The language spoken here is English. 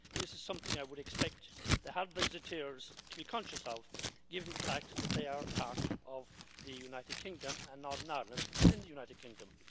This is something I would expect the hard Brexiteers to be conscious of, given the fact that they are part of the United Kingdom and Northern Ireland is in the United Kingdom.